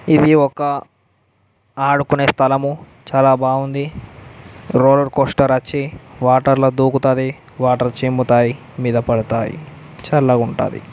ఇది ఒక ఆడుకునే స్థలము చాలా బాగుంది రోలర్ కోస్టర్ అచ్చి వాటర్ ల దూకుతది వాటర్ చిమ్ముతాయి మీద పడతాయి చల్లగా ఉంటాది.